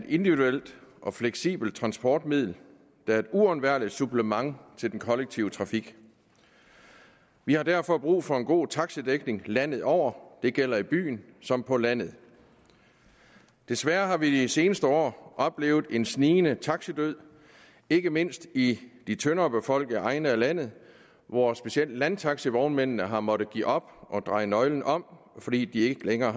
individuelt og fleksibelt transportmiddel der er et uundværligt supplement til den kollektive trafik vi har derfor brug for en god taxidækning landet over det gælder i byen som på landet desværre har vi i de seneste år oplevet en snigende taxidød ikke mindst i de tyndere befolkede egne af landet hvor specielt landtaxivognmændene har måttet give op og dreje nøglen om fordi de ikke længere